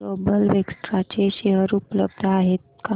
global vectra चे share उपलब्ध आहेत का